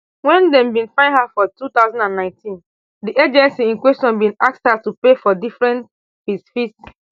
wen dem bin find her for two thousand and nineteen di agency in question bin ask her to pay for different fees fees